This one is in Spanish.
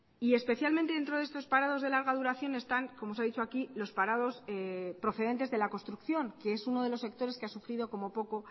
y especialmente dentro de estos parados de larga duración están como se ha dicho aquí los parados procedentes de la construcción que es uno de los sectores que ha sufrido como poco